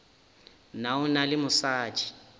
na o na le mosadi